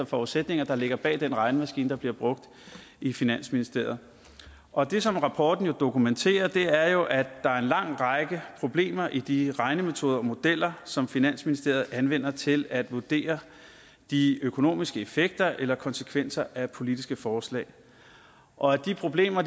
forudsætninger der ligger bag den regnemaskine der bliver brugt i finansministeriet og det som rapporten dokumenterer er jo at der er en lang række problemer i de regnemetoder og modeller som finansministeriet anvender til at vurdere de økonomiske effekter eller konsekvenser af politiske forslag og at de problemer